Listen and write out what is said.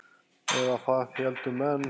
Eða það héldu menn.